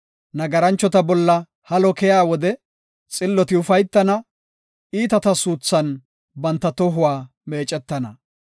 Nagaranchota bolla halo keyiya wode xilloti ufaytana; iitata suuthan banta tohuwa meecetana.